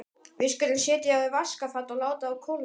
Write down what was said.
Við skulum setja þá í vaskafat og láta þá kólna.